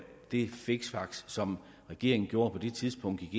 de fiksfakserier som regeringen gjorde på det tidspunkt